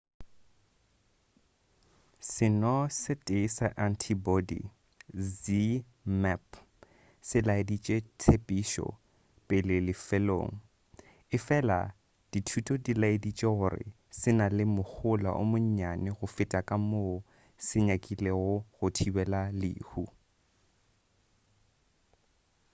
seno se tee sa antibody zmapp se laeditše tshepišo pele lefelong efela dithuto di laeditše gore se na le mohola o monnyane go feta ka moo se nyakilego go thibela lehu